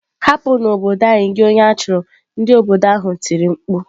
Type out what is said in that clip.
Hapu n'obodo anyi gi onye achuru! Ndị obodo ahụ tiri mkpu.